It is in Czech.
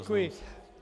Děkuji.